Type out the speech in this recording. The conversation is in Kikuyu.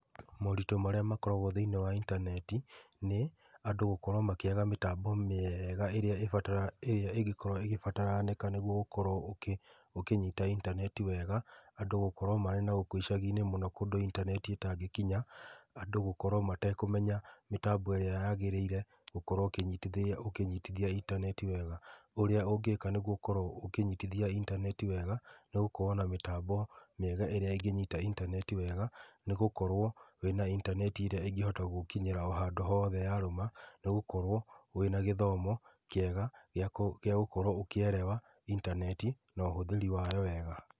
Moritũ marĩa makoragwo thĩinĩ wa intaneti nĩ andũ gũkorwo makĩaga mĩtambo mĩega ĩrĩa ĩngĩkorwo ĩgĩbataranĩka nĩguo ũkorwo ũkĩnyita intaneti wega, andũ gũkorwo marĩ na gũkũ icaginĩ mũno kũndũ intaneti ĩtangĩkinya, andũ gũkorwo matekũmena mĩtambo ĩrĩa yagĩrĩire ya gũkorwo ũkĩnyitithia intaneti wega na ũrĩa ũngĩkĩka nĩguo ũkorwo ũkĩnyitithia intaneti wega nĩgũkorwo na mĩtambo mĩega ĩrĩa ĩngĩnyita intaneti wega, nĩ gũkorwo na intaneti ĩrĩa ĩngĩhota gũgũkinyĩra handũ hothe yarũma, nĩ gũkorwo wĩna gĩthomo kĩega gĩa gũkorwo ũkĩelewa intaneti na ũhũthĩri wao wega.